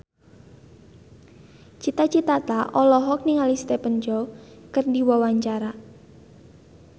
Cita Citata olohok ningali Stephen Chow keur diwawancara